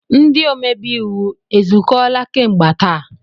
Ndị omebe iwu ezukọọla kemgbe taa?